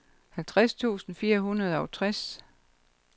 halvtreds tusind fire hundrede og tres